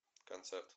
концерт